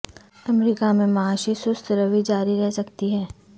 امریکہ میں معاشی سست روی جاری رہ سکتی ہے